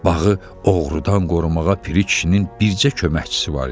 Bağı oğrudan qorumağa Piri kişinin bircə köməkçisi var idi.